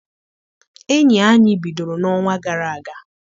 Enyi anyị bidoro n'ọnwa gara aga.